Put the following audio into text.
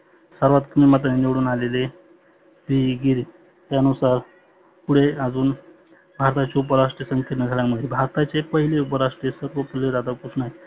सर्वात कमी मताने निवडुन आलेले जीगिरी त्या नुसार. पुढे अजुन आदर्श उपराष्ट्राचे घडामोडी भारताचे पहिले उपराष्ट्र सर्वपल्ली राधाकृष्ण आहे.